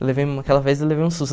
Eu levei, aquela vez eu levei um susto.